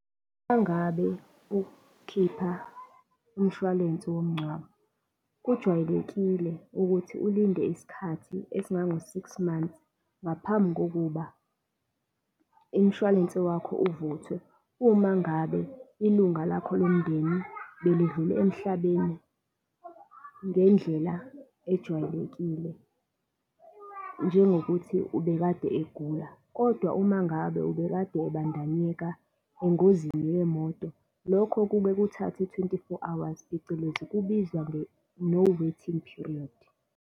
Mangabe ukhipha umshwalense womncwabo, kujwayelekile ukuthi ulinde isikhathi esingango six months ngaphambi kokuba umshwalense wakho uvuthwe. Uma ngabe ilunga lakho lomndeni belidlule emhlabeni ngendlela ejwayelekile, njengokuthi ubekade egula, kodwa uma ngabe ubekade ebandanyeka engozini yemoto, lokho kuke kuthathe-twenty-four hours, phecelezi kubizwa nge-no waiting period.